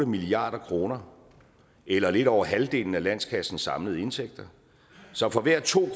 milliard kroner eller lidt over halvdelen af landskassens samlede indtægter så for hver to